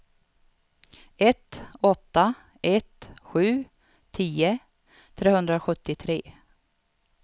ett åtta ett sju tio trehundrasjuttiotre